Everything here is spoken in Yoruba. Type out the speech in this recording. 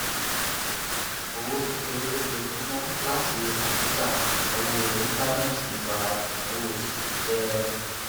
owó kékeré lójoojúmọ látí kọǹpútà ìnáwó íńtánẹẹtì ń ba ìnáwó oṣù mi jẹ